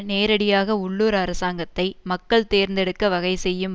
நேரடியாக உள்ளூர் அரசாங்கத்தை மக்கள் தேர்ந்தெடுக்க வகை செய்யும்